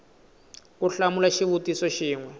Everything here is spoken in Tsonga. ku hlamula xivutiso xin we